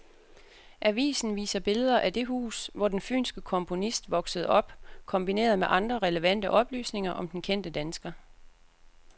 Avisen viser billeder af det hus, hvor den fynske komponist voksede op kombineret med andre relevante oplysninger om den kendte dansker.